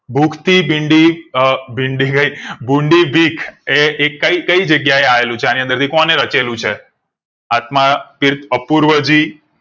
ભૂખ થી ભીંડી અ નઈ ભૂંડી બીક એ એક કઈ જગ્યા એ આવેલું છે એની અંદર થી કોણે રચેલું છે આત્માતીર્થ અપૂર્વજી